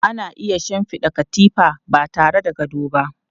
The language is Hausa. Ana iya shinfiɗa katifa ba tare da gado ba.